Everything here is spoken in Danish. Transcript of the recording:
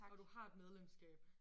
Og du har et medlemskab